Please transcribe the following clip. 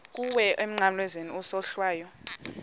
kuwe emnqamlezweni isohlwayo